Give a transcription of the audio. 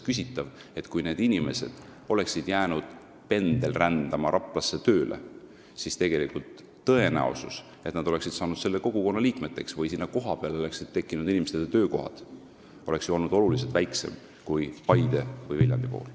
Kui need inimesed oleksid jäänud pendelrändama Rapla suunal, siis see tõenäosus, et nad oleksid saanud selle kogukonna liikmeteks või et kohapeal oleks inimestele töökohad tekkinud, oleks olnud ju oluliselt väiksem kui Paide või Viljandi puhul.